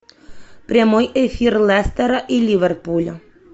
прямой эфир лестера и ливерпуля